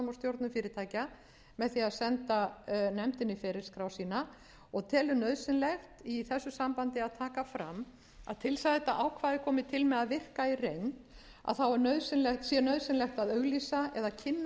og stjórnum fyrirtækja með því að senda nefndinni ferilskrá sína og telur nauðsynlegt í þessu sambandi að taka fram að til þess að ákvæði þetta komi til með að virka í reynd sé nauðsynlegt að auglýsa eða kynna með